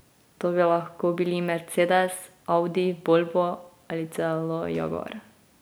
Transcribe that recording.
To bi lahko bili Mercedes, Audi, Volvo ali celo Jaguar.